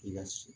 I ka